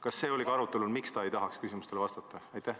Kas see oli arutelul, miks ta ei taha küsimustele vastata?